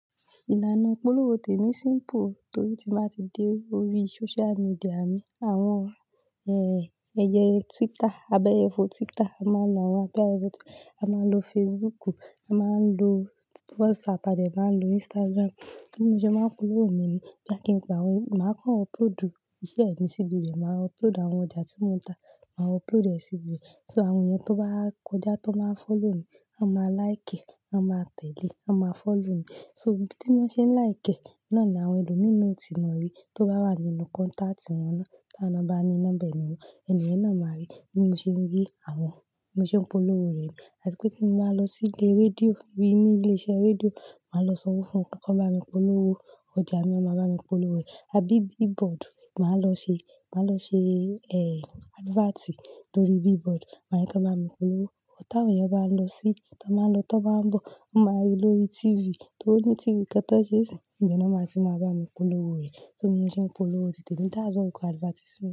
Ìlànà ìpolówó tèmi simple torí tín ba ti dé orí social media mi. Àwọn en, ẹyẹ Twitter, abẹyẹfò Twitter a máa lo wọn Abẹyẹfò a máa lo Facebook, a máa ń lo WhatsApp a de máa ń lo Instagram. Bí mo ṣe máa ń polówó mi ni, boya kíń pe wọ́n, màá kán upload iṣẹ́ mi síbi ibi be, màá upload àwọn ọjà tí mo ń ta, màá upload ẹ síbi ibe. So àwọn ènìyàn tó bá kọjá, tó máa ń follow mi, wọ́n máa like, wọ́n máa tẹ̀lé, wọ́n máa follow mi. So ibí tí wọ́n ṣe ń like, náà ni àwọn ẹlòmíìnù ọ̀tí wọn rí. Tó bá wà nínú contact wọn ná, tawon ná ba ní nọ́mba eniyen, ènìyen náà máa rí bí mo ṣe ń rí àwọn, bí mo ṣe ń polówó rẹ̀. Àti pé kín máa lọ sí ilé rédíò, bí ní ilé iṣẹ́ rédíò, màá lọ sọ wọ́n fún wọn kí wọ́n máa bá mi polówó. Ọjà mi a máa bá mi polówó rẹ̀. A bí billboard máa lọ ṣe, màá lọ ṣe, ẹ, adverti lórí billboard. Máa ní kí won bá mi polówó. Tàwọn eyan bá ń lọ sí, tó ba ń lọ, tó bá ń bọ̀, máa rí lórí TV. Só ní TV kan tan ṣé isin, ibe náà ti máa bá mi polówó rẹ̀. Bi mo ṣé ń polówó ti temi, that's what we call advertisement.